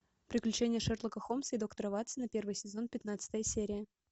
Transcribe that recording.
приключения шерлока холмса и доктора ватсона первый сезон пятнадцатая серия